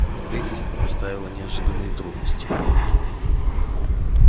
строительство доставило неожиданные трудности